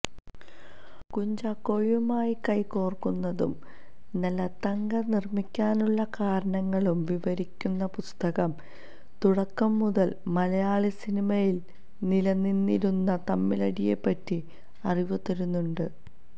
കുഞ്ചാക്കോയുമായി കൈകോര്ക്കുന്നതും നല്ല തങ്ക നിര്മ്മിക്കാനുള്ള കാരണങ്ങളും വിവരിക്കുന്ന പുസ്തകം തുടക്കം മുതല് മലയാളസിനിമയില് നിലനിന്നിരുന്ന തമ്മിലടിയെപ്പറ്റി അറിവ് തരുന്നുണ്ട്